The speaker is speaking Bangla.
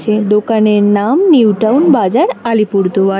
এই দোকানের নাম নিউটাউন বাজার আলিপুরদুয়ার।